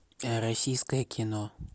российское кино